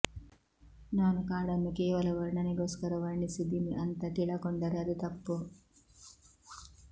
ನಾನು ಕಾಡನ್ನು ಕೇವಲ ವರ್ಣನೆಗೋಸ್ಕರ ವರ್ಣಿಸಿದೀನಿ ಅಂತ ತಿಳಕೊಂಡರೆ ಅದು ತಪ್ಪು